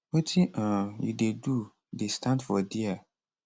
wetin um you dey do dey stand for dia